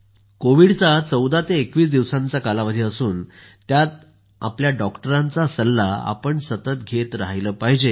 कोविडचा 14 ते 21 दिवसांचा कालावधी असून त्यात आपल्या डॉक्टरांचा सल्ला घेत राहिलं पाहिजे